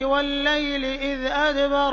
وَاللَّيْلِ إِذْ أَدْبَرَ